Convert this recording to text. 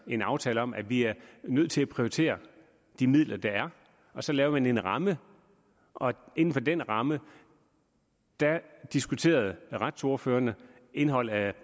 en aftale om at vi er nødt til at prioritere de midler der er og så lavede man en ramme og inden for den ramme diskuterer retsordførerne indholdet af